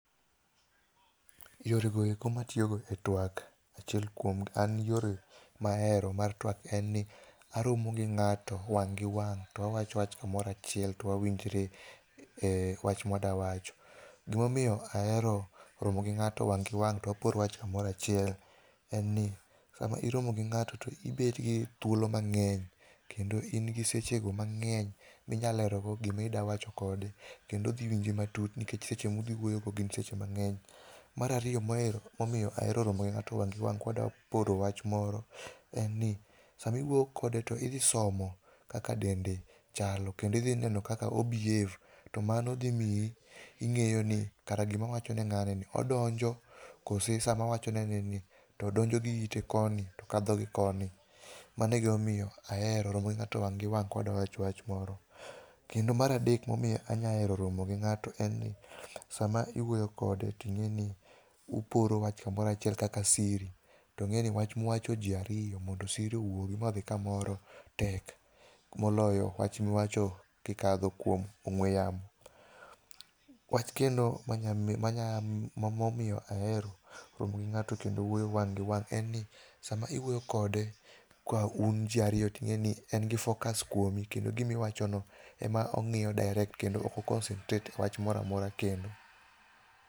Yore go eko matiyogo e tuak, achiel kuom an yore mahero mar tuak en ni, aromo gi ng'ato wang' gi wang' to wawacho wach kamoro achiel to wawinjre e wach mwadwa wacho. Gimomiyo ahero romo gi ng'ato wang' gi wang' to wapor wach kamoro achiel en ni, sama iromo gi ng'ato to ibet gi thuolo mang'eny kendo in gi seche go mang'eny minyalero go gima idwa wacho kode kendo odhi winji matut nikech seche mudhi wuoyo go gin seche mang'eny. Mar ariyo momiyo ahero romo gi ng'ato wang' gi wang' kwadwa poro wach moro en ni, sama iwuoyo kode to idhi somo kaka dende chalo kendo idhi neno kaka o behave, to mano dhi mii ing'eyo ni kara gima awacho ne ng'ani ni odonjo, kose sama awacho ne ni to donjo gi ite koni to kadho gi koni. Mano e gima omiyo ahero romo gi ng'ato wang' gi wang' kwadwa wacho wach moro. Kendo mar adek momiyo anya hero romo gi ng'ato en ni, sama iwuoyo kode to ing'e ni uporo wach kamoro achiel kaka siri. To ing'e ni wach muwacho ji ariyo, mondo siri owugi modhi kamoro tek, moloyo wach muwacho kikadho kuom ong'we yamo. Wach kendo manyamiyo, momiyo ahero romo gi ng'ato kendo wuoyo wang' gi wang' en ni, sama iwuoyo kode ka un ji ariyo ting'eni en gi focus kuomi kendo gimiwacho no, e ma ong'iyo direct kendo ok o concentrate e wach moramora kendo.